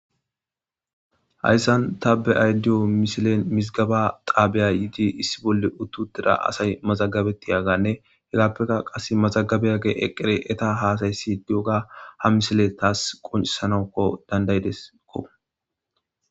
Hayysan ta be'ayda diyyo missilen mizigeba xaban issi bolla uti uttida assay mazagabetiyagane izappe qasse mazagabiyagey eqqidi eeta hasa'isiyoga ha missiley tasi qonccisanas dand'idesiko.